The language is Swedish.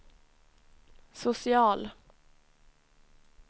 social